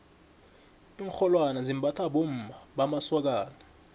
iinrholwane zimbathwa bommamasokana